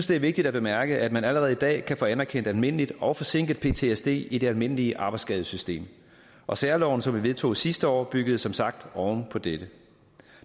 det er vigtigt at bemærke at man allerede i dag kan få anerkendt almindelig og forsinket ptsd i det almindelige arbejdsskadesystem og særloven som vi vedtog sidste år byggede som sagt oven på dette